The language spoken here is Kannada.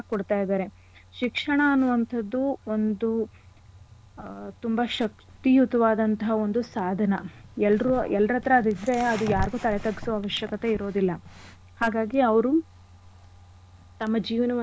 ಕೊಡ್ತಾ ಇದಾರೆ. ಶಿಕ್ಷಣ ಅನ್ನೋ ಅಂಥದ್ದು ಒಂದು ಆ ತುಂಬಾ ಶಕ್ತಿಯುತವಾದಂಥ ಒಂದು ಸಾಧನ. ಎಲ್ರು ಎಲ್ರ್ ಹತ್ರ ಅದ್ ಇದ್ರೆ ಅದು ಯಾರಿಗೂ ತಲೆ ತಗ್ಸೋ ಅವಶ್ಯಕತೆ ಇರೋದಿಲ್ಲ. ಹಾಗಾಗಿ ಅವ್ರು ತಮ್ಮ ಜೀವನವನ್ನ.